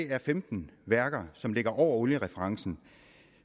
er femten værker som ligger over oliereferencen